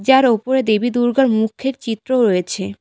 যার ওপরে দেবী দুর্গার মুখের চিত্রও রয়েছে।